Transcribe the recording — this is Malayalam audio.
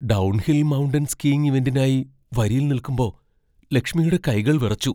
ഡൗൺഹിൽ മൗണ്ടൻ സ്കീയിങ് ഇവന്റിനായി വരിയിൽ നിൽക്കുമ്പോ ലക്ഷ്മിയുടെ കൈകൾ വിറച്ചു.